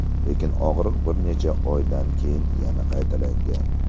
Lekin og‘riq bir necha oydan keyin yana qaytalangan.